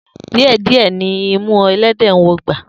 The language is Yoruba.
Die die ni imu elede nwọ ogba.